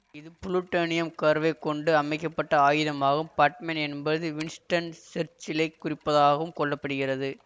இது புளுட்டோனியம் கருவைக் கொண்டு அமைக்க பட்ட ஆயுதம் ஆகும் பாட்மேன் என்பது வின்ஸ்டன் சர்ச்சிலைக் குறிப்பதாகவும் கொள்ள படுகிறது